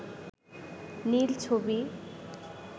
নীল ছবি